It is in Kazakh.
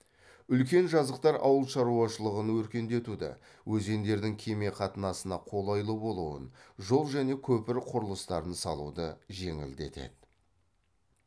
үлкен жазықтар ауыл шаруашылығын өркендетуді өзендердің кеме қатынасына қолайлы болуын жол және көпір құрылыстарын салуды жеңілдетеді